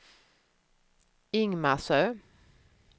Ingmarsö